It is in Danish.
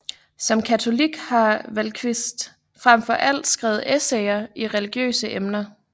Som katolik har Vallquist frem for alt skrevet essayer i religiøse emner